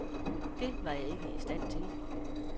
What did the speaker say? Det var jeg ikke i stand til.